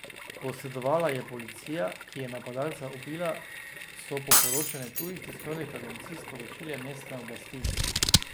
Posredovala je policija, ki je napadalca ubila, so po poročanju tujih tiskovnih agencij sporočile mestne oblasti.